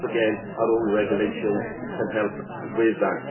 Once again, our own regulations can help with that.